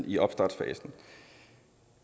i opstartsfasen